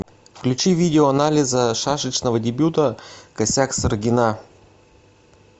включи видео анализа шашечного дебюта косяк саргина